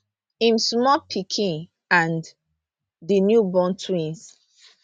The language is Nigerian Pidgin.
im small pikin and di newborn twins